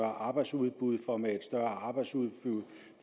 arbejdsudbud for med et større arbejdsudbud